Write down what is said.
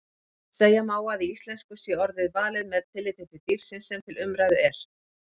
Segja má að í íslensku sé orðið valið með tilliti dýrsins sem til umræðu er.